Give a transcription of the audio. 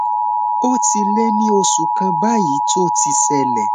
ó ti lé ní oṣù kan báyìí tó ti ṣẹlẹ